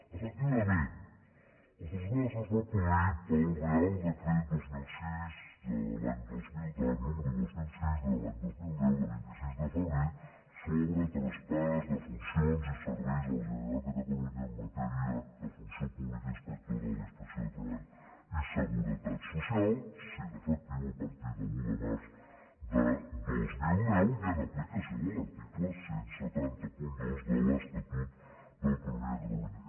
efectivament el traspàs es va produir pel reial decret número dos mil sis de l’any dos mil deu de vint sis de febrer sobre traspàs de funcions i serveis a la generalitat de catalunya en matèria de funció pública inspectora de la inspecció de treball i seguretat social i va ser efectiu a partir de l’un de març de dos mil deu i en aplicació de l’article disset zero dos de l’estatut d’autonomia de catalunya